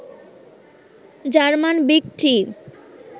German big three